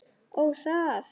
Ó, það!